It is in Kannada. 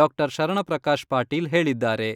ಡಾ.ಶರಣಪ್ರಕಾಶ ಪಾಟೀಲ್ ಹೇಳಿದ್ದಾರೆ.